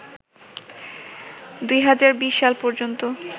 ২০২০ সাল পর্যন্ত